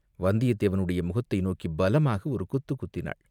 வந்தியத்தேவனுடைய முகத்தை நோக்கிப் பலமாக ஒரு குத்துக் குத்தினாள்.